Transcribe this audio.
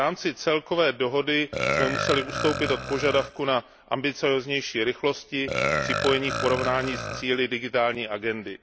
V rámci celkové dohody jsme museli ustoupit od požadavku na ambicióznější rychlosti připojení v porovnání s cíli Digitální agendy.